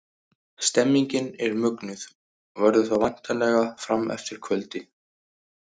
Stemningin er mögnuð og verður það væntanlega fram eftir kvöldi!